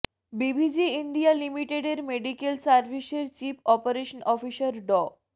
BVG India লিমিটেডের medical সার্ভিসের chief operation officer ড